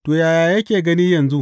To, ta yaya yake gani yanzu?